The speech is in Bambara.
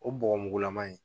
O bɔgɔmugulama in